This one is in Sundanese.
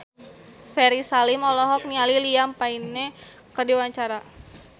Ferry Salim olohok ningali Liam Payne keur diwawancara